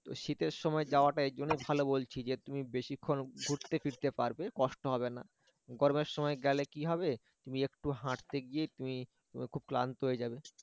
তোর শীতের সময় যাওয়া তো এজন্য ভালো বলছি যে তুমি বেশিক্ষণ ঘুরতে ফিরতে পারবে কষ্ট হবেনা গরমের সময় গেলে কি হবে তুমি একটু হাঁটতে গিয়ে তুমি খুব ক্লান্ত হয়ে যাবে